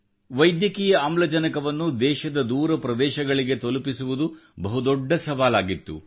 ವೈದ್ಯಕೀಯ ಆಮ್ಲಜನಕವನ್ನು ದೇಶದ ದೂರ ಪ್ರದೇಶಗಳಿಗೆ ತಲುಪಿಸುವುದು ಬಹುದೊಡ್ಡ ಸವಾಲಾಗಿತ್ತು